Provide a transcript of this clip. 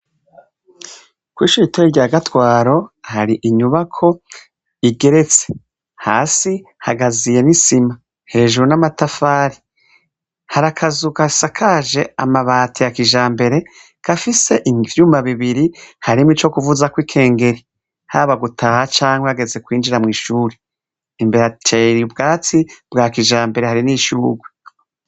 kw' ishure ito rya gatwaro hari inyubako igeretse. Hasi hagaziye n'isima hejuru n'amatafari harakazugasakaje amabati ya kijambere kafise ivyuma bibiri harimo icyo kuvuza kw'ikengeri haba gutaha cyangwa ageze kwinjira mu ishuri imbere ateri ubwatsi bwa kijambere hari n'ishyuhurwe.